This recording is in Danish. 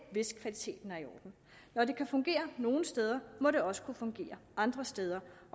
hvis kvaliteten er i orden når det kan fungere nogle steder må det også kunne fungere andre steder